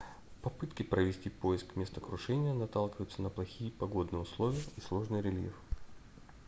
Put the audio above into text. попытки провести поиск места крушения наталкиваются на плохие погодные условия и сложный рельеф